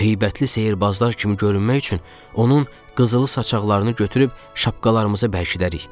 Heybətli sehrbazlar kimi görünmək üçün onun qızılı saçaqlarını götürüb şapkalarımızı bərkidərik.